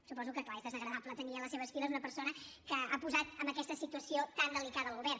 suposo que clar és desagradable tenir a les seves files una persona que ha posat en aquesta situació tan delicada el govern